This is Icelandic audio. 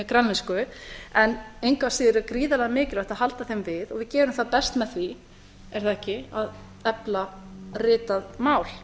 grænlensku en engu að síður er gríðarlega mikilvægt að halda þeim við og við gerum það best með því er það ekki að efla ritað mál